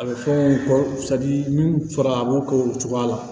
A bɛ fɔ min fɔra a b'o k'o cogoya la